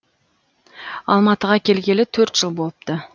алматыға келгелі төрт жыл болыпты